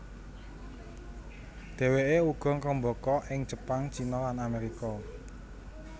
Dhèwèké uga ngrembaka ing Jepang China lan Amerika